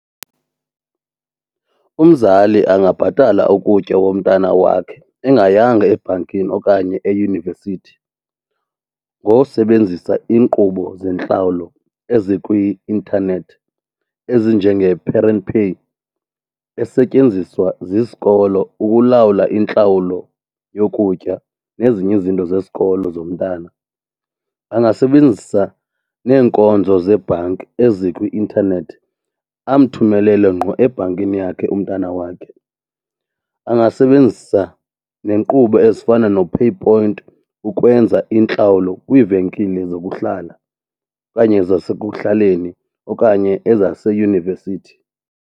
Umzali angabhatalwa ukutya komntana wakhe engayanga ebhankini okanye eyunivesithi ngosebenzisa iinkqubo zentlawulo ezikwi-intanethi ezinjenge-parent pay esetyenziswa zisikolo ukulawula intlawulo yokutya nezinye izinto zesikolo zomntana. Angasebenzisa neenkonzo zebhanki ezikwi-intanethi amthumelele ngqo ebhankini yakhe umntana wakhe. Angasebenzisa nenkqubo ezifana noPayPoint ukwenza iintlawulo kwiivenkile zokuhlala okanye zasekuhlaleni okanye ezaseyunivesithi.